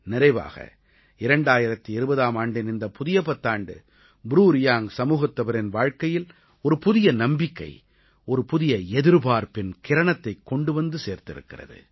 நிறைவாக 2020ஆம் ஆண்டின் இந்தப் புதிய பத்தாண்டு ப்ரூ ரியாங்க் சமூகத்தவரின் வாழ்க்கையில் ஒரு புதிய நம்பிக்கை ஒரு புதிய எதிர்பார்ப்பின் கிரணத்தைக் கொண்டு வந்து சேர்த்திருக்கிறது